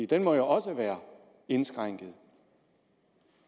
den må jo også være indskrænket